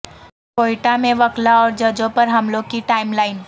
کوئٹہ میں وکلا اور ججوں پر حملوں کی ٹائم لائن